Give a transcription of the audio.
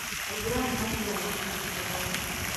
Aithĩramu mathiaga mũthigiti kũhoya